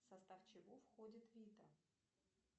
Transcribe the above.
в состав чего входит вита